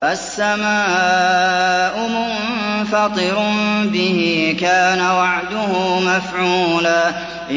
السَّمَاءُ مُنفَطِرٌ بِهِ ۚ كَانَ وَعْدُهُ مَفْعُولًا